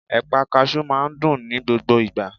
Ẹ̀pà kasú máa n dùn ní gbogbo ìgbà